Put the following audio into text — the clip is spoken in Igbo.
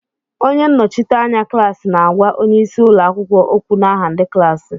Onye nnọchiteanya klaasi na-àgwá onyeisi ụlọakwụkwọ ókwù n'aha ndị klaasi